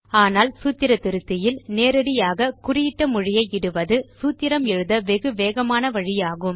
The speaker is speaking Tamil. ஆனால் சூத்திர திருத்தியில் நேரடியாக குறியிட்ட மொழியை இடுவது சூத்திரம் எழுத வெகு வேகமான வழியாகும்